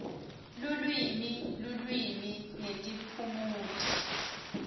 lulwimi lulwimi netiphumuti